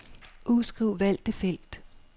Udskriv valgte felt.